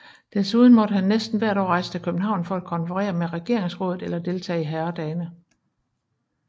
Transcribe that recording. Desuden måtte han næsten hvert år rejse til København for at konferere med regeringsrådet eller deltage i herredagene